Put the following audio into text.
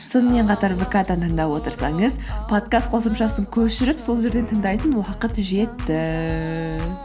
сонымен қатар вк дан тыңдап отырсаңыз подкаст қосымшасын көшіріп сол жерден тыңдайтын уақыт жетті